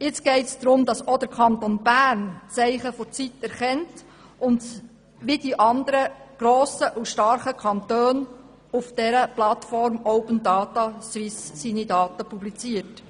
Jetzt geht es darum, dass auch der Kanton Bern die Zeichen der Zeit erkennt und wie die anderen grossen und starken Kantone auf der Plattform Open Data Swiss seine Daten publiziert.